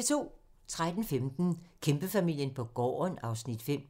13:15: Kæmpefamilien på gården (Afs. 5)